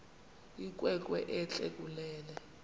inkwenkwe entle kunene